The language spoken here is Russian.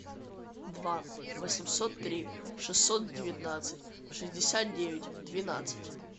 два восемьсот три шестьсот девятнадцать шестьдесят девять двенадцать